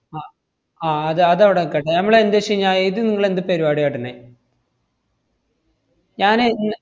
അഹ് ആഹ് അത് അതവടെ നിക്കട്ടെ. നമ്മളെന്തു വെച്ചുകഴിഞ്ഞാ ഇത് നിങ്ങളെന്ത് പരിപാടിയാ കാട്ടുന്നേ? ഞാനേ ഞ്~